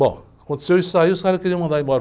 Bom, aconteceu isso aí, e os caras queriam me mandar embora.